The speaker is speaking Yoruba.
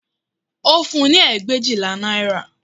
Ó fún-un ní ẹgbẹ̀éjìlá náírà